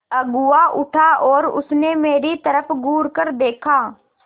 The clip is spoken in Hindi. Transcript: अगुआ उठा और उसने मेरी तरफ़ घूरकर देखा